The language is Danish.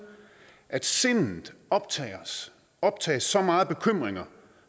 at sindet optages optages så meget af bekymringer